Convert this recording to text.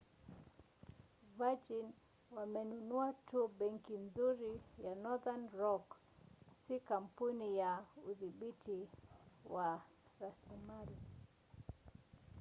virgin wamenunua tu 'benki nzuri' ya northern rock si kampuni ya udhibiti wa rasilimali